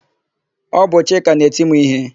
Ọ bụ Chika na-eti m íhé.